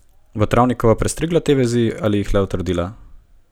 Bo Travnikova prestrigla te vezi ali jih le utrdila?